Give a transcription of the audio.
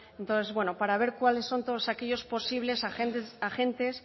entonces bueno para ver cuáles son todos aquellos posibles agentes